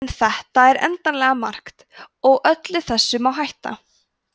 en þetta er endanlega margt og öllu þessu má hætta